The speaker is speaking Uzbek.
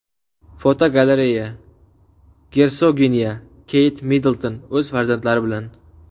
Fotogalereya: Gersoginya Keyt Middlton o‘z farzandlari bilan.